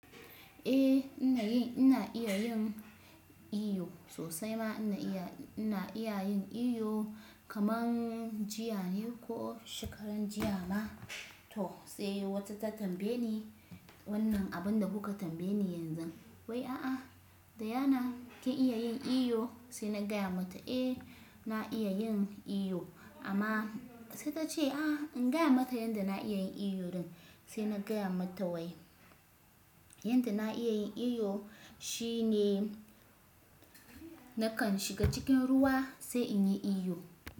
Eh ina iya yin iyo sosai ma ina iya yin iyo kaman jiya ne ko shekaran jiya ma to sai wata ta tambaye ni wannan abinda kuka tambaye ni yanzu wai a'a Diana kin iya yin iyo? Sai na gaya mata eh na iya yin iyo amma sai ta ce a'a in gaya mata yanda na iya yin iyo din sai na gaya mata wai yanda na iya yin iyo shine nakan shiga cikin ruwa sai in yi iyo.